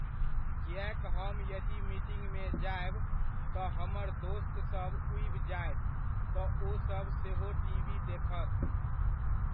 किएक हम यदि मीटिंगमे जायब, तऽ हमर दोस्तसब उबि जायत तऽ ओसभ सेहो टीवी देखत।